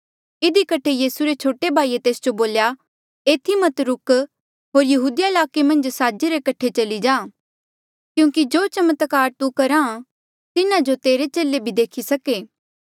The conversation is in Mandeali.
इधी कठे यीसू रे छोटे भाईये तेस जो बोल्या एथी मत रुक होर यहूदिया ईलाके मन्झ साजे रे कठे चली जा क्यूंकि जो चमत्कार तू करहा तिन्हा जो तेरे चेले भी देखी सके